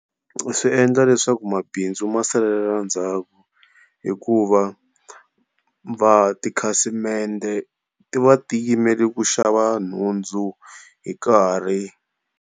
Swi endla leswaku mabindzu masalela ndzhaku hikuva va tikhasimende ti va ti yimeli ku xava nhundzu hi nkarhi.